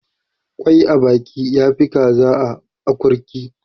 kwai a baka ya Fi kaza a akurki